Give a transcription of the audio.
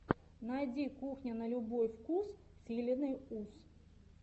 найди кухня на любой вкус с еленой ус